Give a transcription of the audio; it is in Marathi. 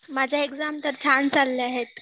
माझ्या एक्झाम तर छान चालल्या आहेत